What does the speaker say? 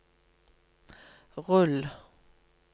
rull